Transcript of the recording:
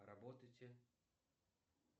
работайте